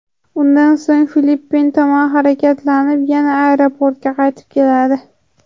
Undan so‘ng Filippin tomon harakatlanib, yana aeroportga qaytib keladi.